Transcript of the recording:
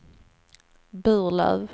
Burlöv